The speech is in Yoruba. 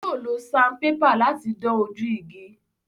Yóò lo sanpépà láti dán ojú igi.